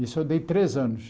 Isso eu dei três anos.